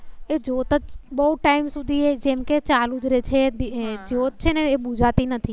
એ જ્યોત બહુ ટાઇમ સુધી જેમ કે ચાલુ જ રહે છે. જ્યોત છે ને એ બુજાતી નથી